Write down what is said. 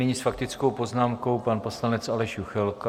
Nyní s faktickou poznámkou pan poslanec Aleš Juchelka.